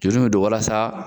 Juru bɛ don walasa